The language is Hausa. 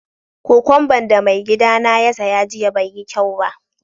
Kokwamba'n da mai gidy na ya saya jiya bai yi kyau ba.